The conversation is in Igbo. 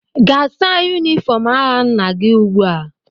Gaa saa yunifọm agha nna gị ugbua!